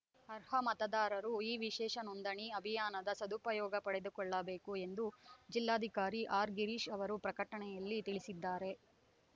ಅರ್ಹ ಮತದಾರರು ಈ ವಿಶೇಷ ನೋಂದಣಿ ಅಭಿಯಾನದ ಸದುಪಯೋಗ ಪಡೆದುಕೊಳ್ಳಬೇಕು ಎಂದು ಜಿಲ್ಲಾಧಿಕಾರಿ ಆರ್‌ ಗಿರೀಶ್‌ ಅವರು ಪ್ರಕಟಣೆಯಲ್ಲಿ ತಿಳಿಸಿದ್ದಾರೆ